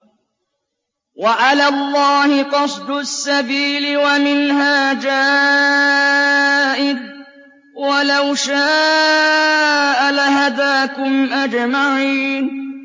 وَعَلَى اللَّهِ قَصْدُ السَّبِيلِ وَمِنْهَا جَائِرٌ ۚ وَلَوْ شَاءَ لَهَدَاكُمْ أَجْمَعِينَ